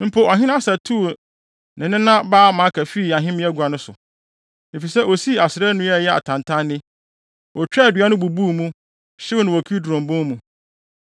Mpo ɔhene Asa tuu ne nena baa Maaka fii ahemmeagua no so, efisɛ osii Asera nnua a ɛyɛ atantanne. Otwaa dua no, bubuu mu, hyew no wɔ Kidron bon mu.